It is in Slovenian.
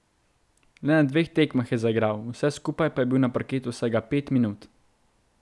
Le na dveh tekmah je zaigral, vse skupaj pa je bil na parketu vsega pet minut.